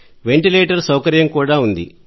ventilator సౌకర్యం కూడా ఉంది